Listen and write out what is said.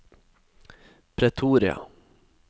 Pretoria